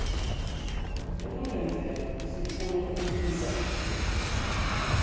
ekungenzeka sifune ukuthintana